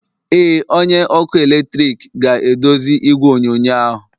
Ee, onye ọkụ eletrik ga-edozi igwe onyonyo ahụ.